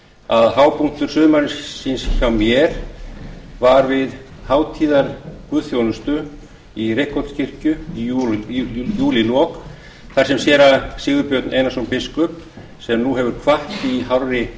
að hápunktur sumarsins hjá mér var við hátíðarguðþjónustu í reykholtskirkju í júlílok þar sem séra sigurbjörn einarsson biskup sem nú hefur kvatt í hárri